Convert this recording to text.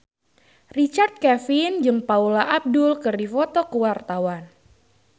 Richard Kevin jeung Paula Abdul keur dipoto ku wartawan